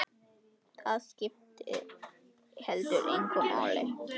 Það skipti heldur engu máli.